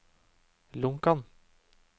Lonkan